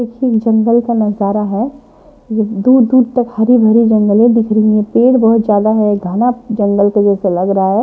देखिए ये जंगल का नजारा है जो दूर दूर तक हरी भरी जंगले दिख रही हैं पेड़ बहुत ज्यादा है घना जंगल के जैसे लग रहा है।